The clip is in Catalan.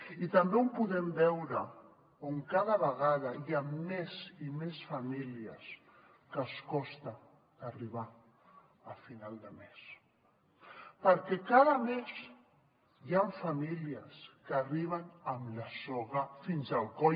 i també on podem veure que cada vegada hi ha més i més famílies que els costa arribar a final de mes perquè cada mes hi han famílies que arriben amb la soga fins al coll